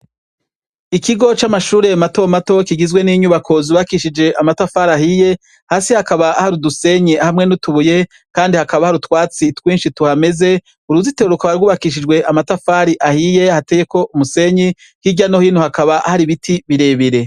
Ikigo c'amashure matomato kigizwe n'inyubako zubakishije amatafari ahiye; hasi hakaba hari udusenyi hamwe n'utubuye kandi hakaba hari utwatsi twinshi tuhameze. Uruzitiro rukaba rwubakishijwe amatafari ahiye hateyeko umusenyi, hirya no hino hakaba hari ibiti birebire.